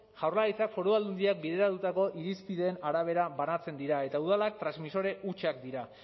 jaurlaritzak foru aldundiak bideratutako irizpideen arabera banatzen dira eta udalak transmisore hutsak dira